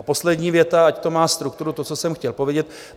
A poslední věta, ať to má strukturu, to, co jsem chtěl povědět.